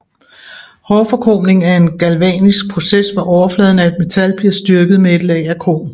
Hårdforkromning er en galvanisk proces hvor overfladen af et metal bliver styrket med et lag af krom